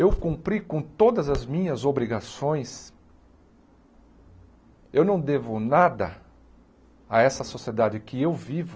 Eu cumpri com todas as minhas obrigações, eu não devo nada a essa sociedade que eu vivo